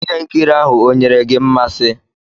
Ihe nkiri ahụ onyere gị mmasị?